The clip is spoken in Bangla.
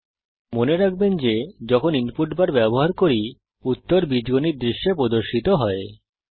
দয়া করে মনে রাখবেন যখন আমরা ইনপুট বার ব্যবহার করি উত্তর বীজগণিত দৃশ্যে প্রদর্শিত হয়